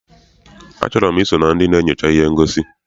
A chọrọ m I so na ndị na-enyocha ihe ngosi.